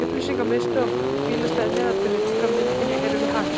Upplýsingamiðstöðin og bílastæðið neðarlega til vinstri á myndinni eru við Hakið.